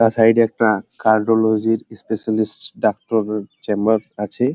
বাঁ সাইড এ একটা কার্ডিওলজিস্ট স্পেশালিস্ট ডাক্তার এর চেম্বার আছে।